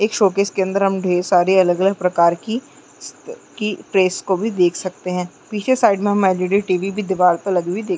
एक शोकेश के अंदर हम ढ़ेर सारे अलग-अलग प्रकार की की प्रेस को भी देख सकते है पीछे साइड हम एलइडी टीवी भी दीवाल पर लगी हुई देख--